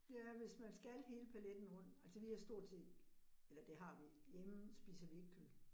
Ja, hvis man skal hele paletten rundt, altså vi har stort set, eller det har vi, hjemme spiser vi ikke kød